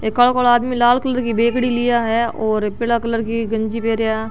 कालो कली आदमी एक लाल कलर की बैगडी लिया है और पीला कलर की गंजी पेरा।